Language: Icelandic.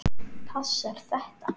Passar þetta?